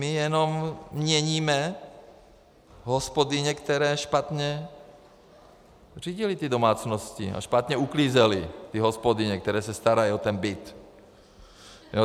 My jenom měníme hospodyně, které špatně řídily ty domácnosti a špatně uklízely ty hospodyně, které se starají o ten byt.